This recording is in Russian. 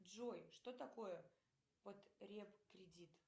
джой что такое потреб кредит